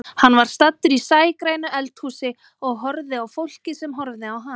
Hann var staddur í sægrænu eldhúsi og horfði á fólkið sem horfði á hann.